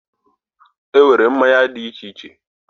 Enwere mmanya di iche iche